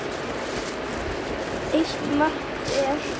Eitt mark hver.